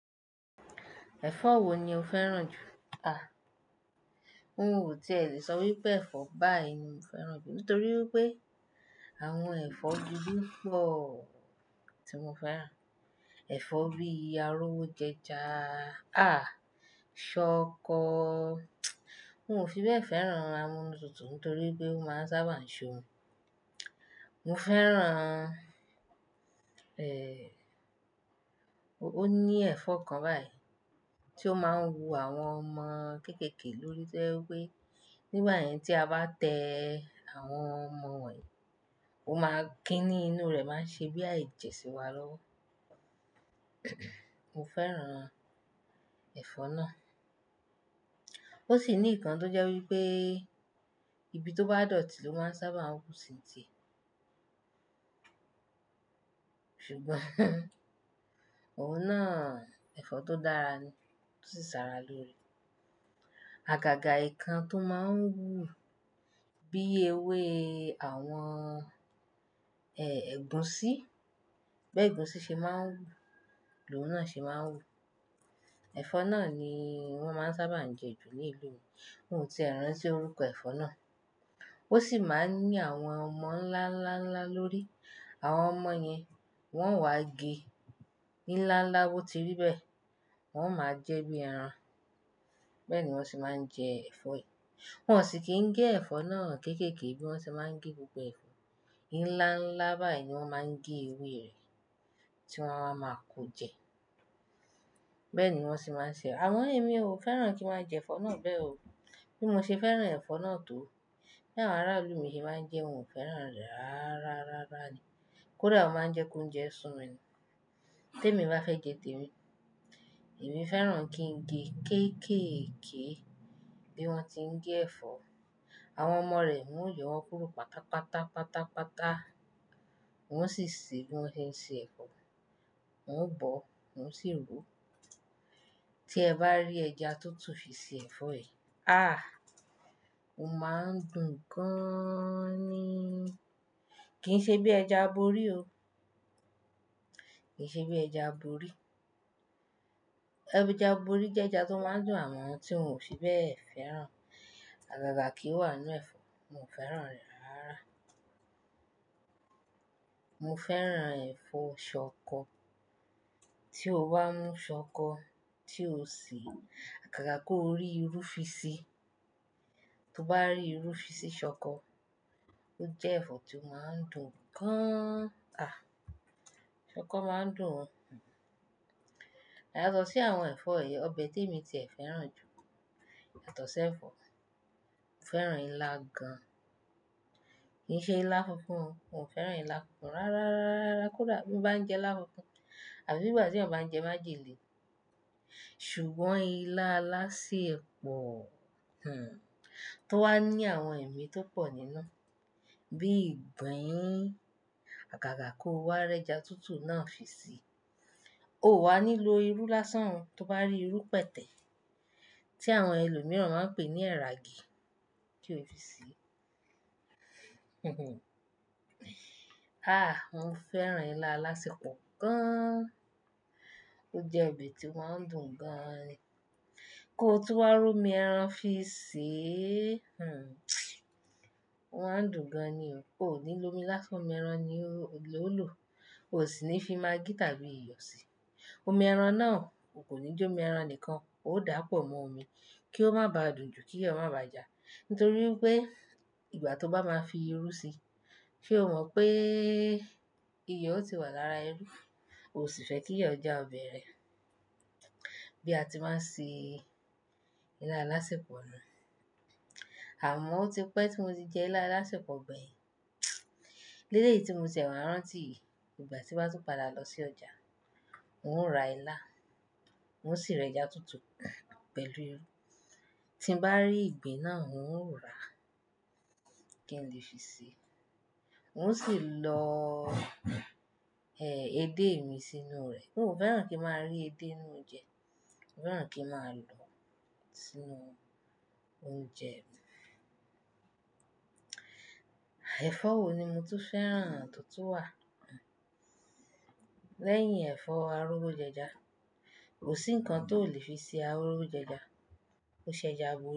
Ẹ̀fọ́ wo ni o fẹ́ràn jù? Ń o ti è lè sọ wípé ẹ̀fọ́ báyi ni mo fẹ́ràn jù nítorí wípé àwọn ẹ̀fọ́ gbogbo pò tí mo fẹ́ràn. Ẹ̀fọ́ bíi arówo jẹja, ṣọkọ, n ò fi bẹ́ẹ̀ fẹ́ràn amunu tútù nítorí pé ó máa ń sábà ń ṣomi. Mo fẹ́ràn, o ní ẹ̀fọ́ kan báyìí tí ó máa ń wu àwọn ọmọ kéékèèké lórí tó ye wípé nígbà yẹn tí a bá tẹ àwọn ọmọ wón yì, ó máa ń kí ní inú rẹ̀ máa ń ṣe bí i a ejẹ̀ sí wa lọ́wọ́. Mo fẹ́ràn ẹ̀fọ́ náà. Ó sì ní ikan tó jẹ́ wípé ibi tó bá dọ̀tí ló máa ń sábà hù sí ń tì e. Ṣùgbọ́n òun náà ẹ̀fọ́ tó dára ni, tó sì ṣàrà lóre. Àgàgà ìkan tó máa ń wú bíi ewé àwọn, ẹ̀gúsí, bẹ́ẹ̀ gúsí ṣe máa ń wú, lóhùn náà ṣe máa ń wú. Ẹ̀fọ́ náà ni wọ́n máa ń sábà jẹ ju ní ìlú mi, n ò ti è rántí orúkọ ẹ̀fọ́ náà. Ó sì máa ń ní àwọn ọmọ ńlá, ńlá, ńlá lórí. Àwọn ọmọ yẹn wọn wá gé ní ńlá, ńlá bó ti rí bẹ́ẹ̀, wọ́n máa jẹ́ bí i ẹran. Bẹ́ẹ̀ ni wọ́n sì máa ń jẹ ẹ̀fọ́ ẹ. Wọn ò sì kí ń gé ẹ̀fọ́ náà kéékèèké bí wọ́n ṣe máa ń gé gbogbo ẹ̀fọ́. Ní ńlá, ńlá báyìí ni wọ́n máa ń gé ewé rẹ̀ tí wọ́n á wa máa kó jẹ. Bẹ́ẹ̀ ni wọ́n se máa ń ṣe. Àmon ẹ̀mí o fẹ́ràn kí n máa jẹ ẹ̀fọ́ náà bẹ́ẹ̀ o. Bí mo ṣe fẹ́ràn ẹ̀fọ́ náà tó, bí àwọn arálù mi ṣe máa ń jẹ́, n ò fẹ́ràn rẹ̀ rárá, rárá ni. Kódà ó máa ń jẹ́ kó ounjẹ́ sún mi ni. Tèmi bá fẹ́ jẹ, tèmi. Èmi fẹ́ràn kí n gé kéékèèké bí wọ́n ti ń gé ẹ̀fọ́. Àwọn ọmọ rẹ̀ n ó yọ wọ́n kúrò pátápátá, pátápátá. Wọ́n sì se bí wón se ń ṣe ẹ̀fọ́. Wọ́n ò bọ̀, wọ́n ò sì ro. Tí ẹ bá rí ẹja tútù fi ṣe ẹ̀fọ́ ẹ, ó máa ń dùn gan ni. Kì ń ṣe bí ẹja aborí o. Kì í ṣe bí ẹja aborí. Ẹja aborí jẹ́ ẹja tó máa ń dùn àwọn tí won ò fi bẹ́ẹ̀ fẹ́ràn. Àgàgà kì í wà nú ẹ̀fọ́, mo fẹ́ràn rẹ̀ rárá rárá. Mo fẹ́ràn ẹ̀fọ́ ṣọkọ. Tí o bá mú ṣọkọ, tí o se àgàgà kó rí irú fi si. To bá rí irú fi sí ṣọkọ, ó jẹ́ ẹ̀fọ́ tí ó máa ń dùn gan. Ṣọkọ máa ń dùn ó. Yato sí àwọn ẹ̀fọ́ yì, ọbẹ̀ tèmi ti è fẹ́ràn jù, yato si ẹ̀fọ́. Mo fẹ́ràn ilá gan. Kì ń ṣe ilá funfun o, n ò fẹ́ràn ilá funfun rárá, rárá, rárá kódà bí n bá ń jẹ ilá funfun afí bí ìgbà tí èèyàn bá ń jẹ májèlé. Ṣùgbọ́n ilá alásèpọ̀, tó wá ní àwọn ẹ̀mí tó pọ̀ nínú bíi ìgbín, àgàgà kó wá ri ẹja tútù náà fi si. O wà nílo irú lásán ó tó bá rí irú pẹ̀tẹ̀ tí àwọn ẹlòmíràn máa ń pè ní ẹ̀ragi kí o fi se. Ah, mo fẹ́ràn ilá alásèpọ̀ gan. Ó jẹ́ ọbẹ̀ tí ó máa ń dùn gan ni. Kó tún wá rí omi ẹran fi sè é, ó máa ń dùn gan ni o. O ò nílo omi lásán, omi ẹran ni ló lò. O sì ní fi maggi tàbí iyọ̀ si. Omi ẹran náà o kò ní jó omi ẹran nìkan, óò dà pọ̀ mọ́ omi kí ó má ba dùn jù kí iyo má bà jà. Nítorí pé ìgbà tó bá máa fi irú si, ṣe o mọ̀ pé iyọ̀ ó ti wà lára irú, o sì fẹ́ kí iyọ̀ jẹ́ ọbẹ̀ rẹ. Bí a ti máa ń ṣe ilá alásèpọ̀ nù. Àmọ́ ó ti pẹ́ tí mo ti jẹ ilá alásèpọ̀ gbeyin Eléyìí tí mo tí é wa rántí yì, ìgbà tí m bá tún padà lọ sí ọjà, n ó ra ilá, n ó sì rẹ ẹja tútù pẹ̀lú irú. Tí n bá rí ìgbín náà n ó rà á. Kí n lè fi ṣe? N ó sì lọ, edé mi sínú rẹ̀. N ò fẹ́ràn kí n máa rí edé nínú oúnjẹ. Mo fẹ́ràn kí n máa lọ sínú oúnjẹ mi. Ẹ̀fọ́ wo ni mo tu fẹ́ràn tó tù wà? Lẹ́yìn ẹ̀fọ́ arówo jẹja. Kò sí nǹkan tó le fi ṣe arówo jẹja. Ó ṣe ẹja aborí.